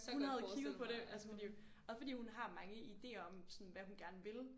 Hun havde kigget på det fordi også fordi hun har mange idéer om sådan hvad hun gerne vil